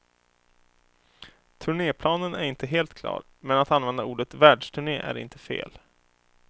Turnéplanen är inte helt klar, men att använda ordet världsturné är inte fel.